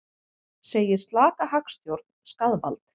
Segir slaka hagstjórn skaðvald